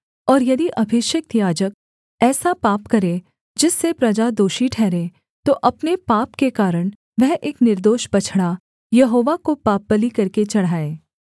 और यदि अभिषिक्त याजक ऐसा पाप करे जिससे प्रजा दोषी ठहरे तो अपने पाप के कारण वह एक निर्दोष बछड़ा यहोवा को पापबलि करके चढ़ाए